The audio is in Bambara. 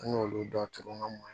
An y'olu dɔ turu an ka mɔn